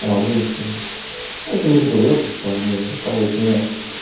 радуемся я тебе уже говорил то что они рассказывают мне